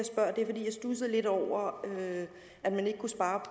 jeg studsede lidt over at man ikke kunne svare